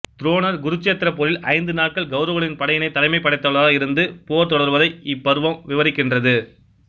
துரோணர் குருச்சேத்திரப்போரில் ஐந்து நாட்கள் கௌரவர்களின் படையின் தலைமைப் படைத்தலைவராக இருந்து போர் தொடர்வதை இப் பர்வம் விவரிக்கின்றது